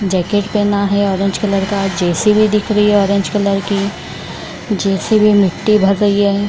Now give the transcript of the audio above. Jacket पेहना है orange colour का जे.सी.बी. दिख रही है ऑरेंज कलर की जे.सी.बी. मिट्टी भर रही है।